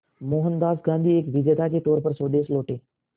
मोहनदास गांधी एक विजेता के तौर पर स्वदेश लौटे